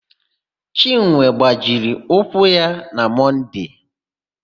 Chinwe gbajiri ụkwụ na Mọnde.